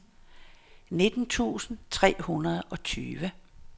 nitten tusind tre hundrede og tyve